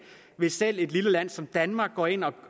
hvis et lille land som danmark går ind og